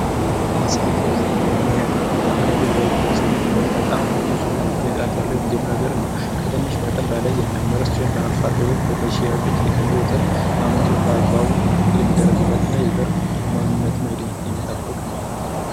መሰረታዊ ዘር :በምርምር ማካበት ወይንም በዩኒቨርስቲ የሚመረት በጣም ንጹ እና ከፍተኛ ጥራት ያለዉየመጀመሪያ ዘር ነዉ። ከትንሽ መጠን በላይ የማይመረት ሲሆን በአርሶ አደሮች በነዚ ሽያጮች ከሚለዉ ዘር አመንጭ ነዉ። በአግባቡ በክትትል የሚደረግለት እና ማንነትን አይዴንቲቲ የሚጠብቅ ነዉ።